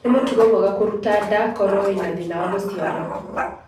Nĩ mũtugo mwega kũruta nda koro wĩna thĩna wa gũciara.